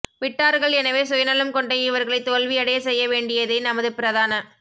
விட்டார்கள் எனவே சுயநலம் கொண்ட இவர்களை தோல்வியடையச் செய்ய வேண் டியதே நமது பிரதான